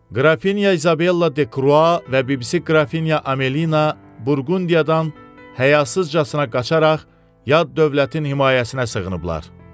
Qrafinya İzabella de Krua və bibisi Qrafinya Amelina Burqundiyadan həyasızcasına qaçaraq yad dövlətin himayəsinə sığınıblar.